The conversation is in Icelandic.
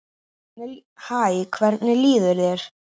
Hæ, hvernig líður þér?